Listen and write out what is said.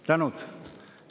Tänud!